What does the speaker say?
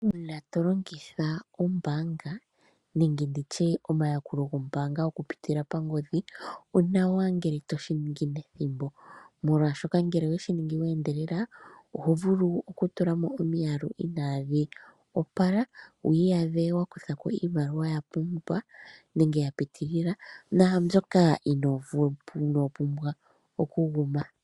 Uuna to longitha oombaanga nenge ndi tye omayakulo gombaanga okupitila pangodhi, onawa ngele to shi ningi nethimbo, molwashoka ngele owe shi ningi we endelela oho vulu okutula mo omiyalu inaadhi opala, wu ka iyadhe wa kutha ko iimaliwa ya puka nenge ya piitilila naambyoka inoo pumbwa okuguma.